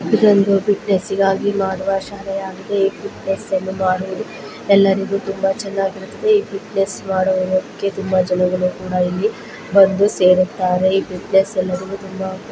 ಇದೊಂದು ಫಿಟ್ನೆಸ್ ಗಾಗಿ ಮಾಡುವ ಶಾಲೆಯಾಗಿದ ಈ ಫಿಟ್ನೆಸ್ ಅನ್ನು ಮಾಡುವುದು ಎಲ್ಲರಿಗೂ ತುಂಬಾ ಚೆನ್ನಾಗಿರುತದೆ. ಈ ಫಿಟ್ನೆಸ್ ಮಾಡುವುದಕ್ಕೆ ತುಂಬಾ ಜನಗಳು ಕೂಡ ಇಲ್ಲಿ ಬಂದು ಸೇರುತ್ತಾರೆ. ಈ ಫಿಟ್ನೆಸ್ ಎಲ್ಲವನ್ನೂ ತುಂಬಾ--